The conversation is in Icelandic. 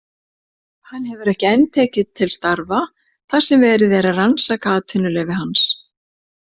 Hann hefur ekki enn tekið til starfa þar sem verið er að rannsaka atvinnuleyfi hans.